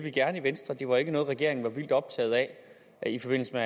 gerne i venstre det var ikke noget regeringen var vildt optaget af i forbindelse